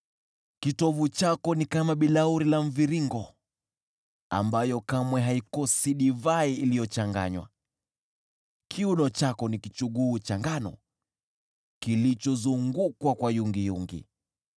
Kitovu chako ni kama bilauri ya mviringo ambayo kamwe haikosi divai iliyochanganywa. Kiuno chako ni kichuguu cha ngano kilichozungukwa kwa yungiyungi.